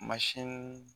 Mansin